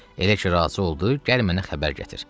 Elə ki razı oldu, gəl mənə xəbər gətir.